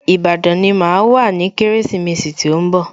Ìbàdàn ni màá wà ní Kérésìmesì tí ó ń bọ̀